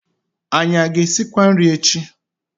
Anyị a ga-esikwa nri echi?